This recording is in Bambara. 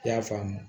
I y'a faamu